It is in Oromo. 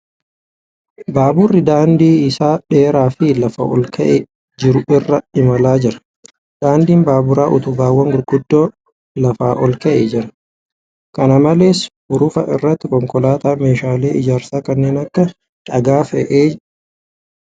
Baaburri daandii isaa dheeraa fi lafaa olka'ee jiru irra imalaa jira. Daandiin baaburaa utubaawwan gurguddoo lafa ol ka'ee jira. Kana malees, hurufa irratti konkolaataan meeshaalee ijaarsaa kanneen akka dhagaa fe'aa jira.